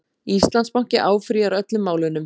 Íslandsbanki áfrýjar öllum málunum